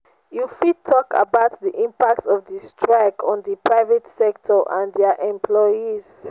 you you fit talk about di impact of di strike on di private sector and dia employees.